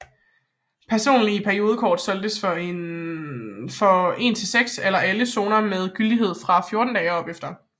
Personlige periodekort solgtes for en til seks eller alle zoner og med gyldighed fra 14 dage og opefter